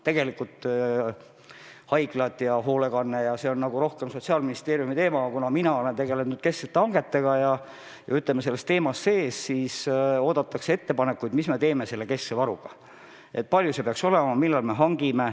Tegelikult on haiglad ja hoolekanne nagu rohkem Sotsiaalministeeriumi teema, aga kuna ma olen tegelenud kesksete hangetega ja, ütleme, selles teemas sees, siis on mult palutud ettepanekuid, mis me teeme selle keskse varuga, kui suur see peaks olema ja millal me varud hangime.